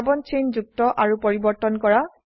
carbon chain যুক্ত আৰু পৰিবৰ্তন কৰা